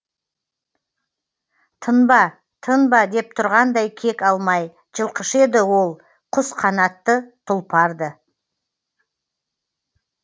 тынба тынба деп тұрғандай кек алмай жылқышы еді ол құс қанатты тұлпар ды